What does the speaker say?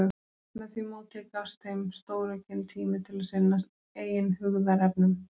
Með því móti gafst þeim stóraukinn tími til að sinna eigin hugðarefnum.